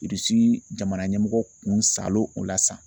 jamana ɲɛmɔgɔ kun salo o la sa.